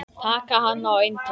Taka hann á eintal.